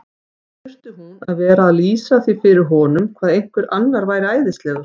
Þurfti hún að vera að lýsa því fyrir honum hvað einhver annar væri æðislegur?